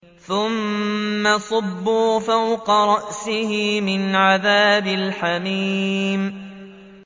ثُمَّ صُبُّوا فَوْقَ رَأْسِهِ مِنْ عَذَابِ الْحَمِيمِ